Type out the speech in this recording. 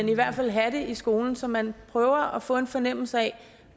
i hvert fald have det i skolen så man prøver at få en fornemmelse af